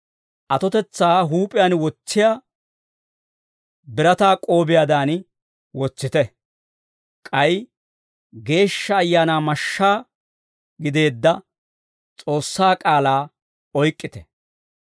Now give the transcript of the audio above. Atotetsaa huup'iyaan wotsiyaa birataa k'oobiyaadan wotsite; k'ay Geeshsha Ayaanaa mashshaa gideedda S'oossaa k'aalaa oyk'k'ite.